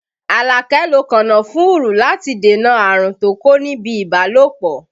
Alake lo kànnáfùrù láti dènà àrùn tó kó níbi ibalopo